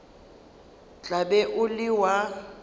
tla be o le wa